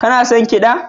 Kana son kiɗa?